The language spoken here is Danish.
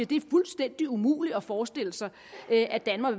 det er fuldstændig umuligt at forestille sig at danmark